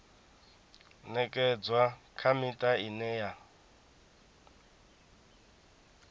ṅekedzwa kha miṱa ine ya